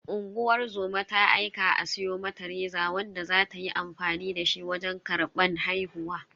Unguwar zoma ta aika a siyo mata reza wanda za ta yi amfani dashi wajen karban haihuwa.